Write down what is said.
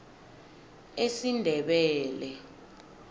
esindebele